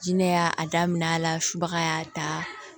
Jinɛ y'a daminɛ a la subaga y'a ta